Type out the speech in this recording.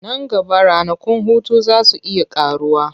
Nan gaba ranakun hutu za su iya ƙaruwa.